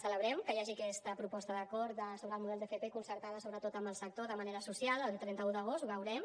celebrem que hi hagi aquesta proposta d’acord sobre el model d’fp concertada sobretot amb el sector de manera social el trenta un d’agost ho veurem